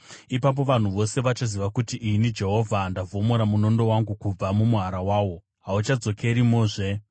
Ipapo vanhu vose vachaziva kuti ini Jehovha ndavhomora munondo wangu kubva mumuhara wawo; hauchazodzokerimozve.’